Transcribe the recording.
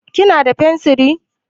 Kina da fensiri?